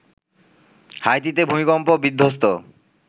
হাইতিতে ভূমিকম্প বিধ্বস্ত